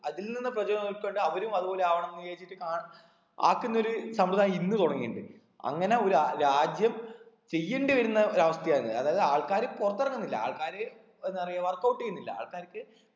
അതിൽ നിന്ന് പ്രചോ പെട്ട് അവരും അത്പോലെ ആവണം വിചാരിച്ചിട്ട് കാ ആക്കുന്നൊരു സമ്പ്രതായം ഇന്ന് തൊടങ്ങിണ്ട് അങ്ങനെ ഒരു രാജ്യം ചെയ്യേണ്ടി വരുന്ന ഒരു അവസ്ഥയാണ് അതായത് ആൾക്കാര് പൊറത്തിറങ്ങുന്നില്ല ആൾക്കാര് എന്താ പറയാ work out ചെയ്യുന്നില്ല ആൾക്കാർക്ക്